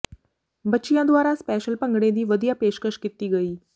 ਬਚਿੱਆਂ ਦੂਆਰਾ ਸਪੈਸ਼ਲ ਭੰਗੜੇ ਦੀ ਵਧੀਆ ਪੇਸ਼ਕਸ਼ ਕੀਤੀ ਗਈ